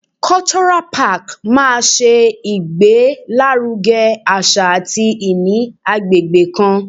Cultural park máa ṣe ìgbé lárugẹ àṣà àti ìní agbègbè kan.